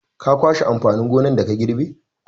Ka kwashe amfanin gonar da ka girbe!